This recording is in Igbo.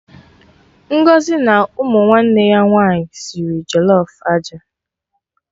Ngọzi na ụmụ nwanne ya nwaanyị sịrị jollof aja